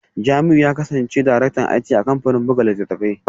Jamiu ya kasance Daraktan IT a kamfanin buga littattafai